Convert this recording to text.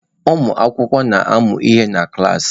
Ụmụ akwụkwọ na-amụ ihe na klas.